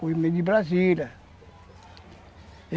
de Brasília.